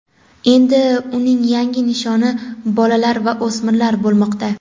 endi uning yangi nishoni bolalar va o‘smirlar bo‘lmoqda.